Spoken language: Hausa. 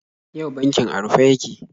Yau bankin a rufe yake.